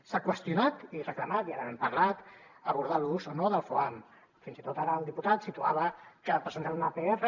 s’ha qüestionat i reclamat i ja n’hem parlat abordar l’ús o no del foam fins i tot ara el diputat situava que presentarà una pr